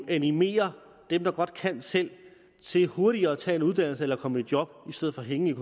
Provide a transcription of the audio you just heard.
animerer dem der godt kan selv til hurtigere at tage en uddannelse eller komme i job i stedet for at hænge